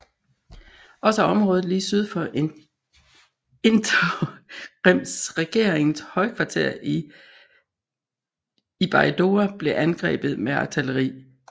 Også området lige syd for interimsregeringens højkvarter i Baidoa blev angrebet med artilleri